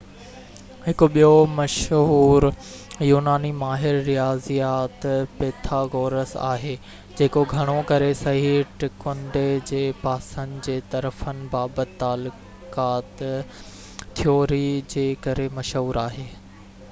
هڪ ٻيو مشهور يوناني ماهر رياضيات پيٿاگورس آهي جيڪو گهڻو ڪري صحيح ٽڪنڊي جي پاسن جي طرفن بابت تعلقات ٿيوري جي ڪري مشهور آهي